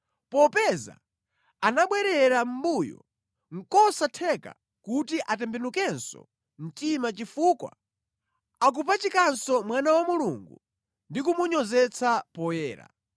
Popeza anabwerera mʼmbuyo, nʼkosatheka kuti atembenukenso mtima chifukwa akupachikanso Mwana wa Mulungu ndi kumunyozetsa poyera.